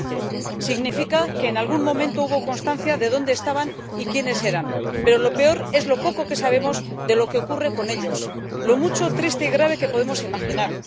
2015. Significa que en algún momento hubo constancia de dónde estaban y quiénes eran, pero lo peor es lo poco que sabemos de lo que ocurre con ellos y lo mucho, triste y grave, que podemos imaginar.